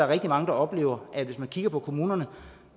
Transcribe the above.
rigtig mange der oplever at hvis man kigger på kommunerne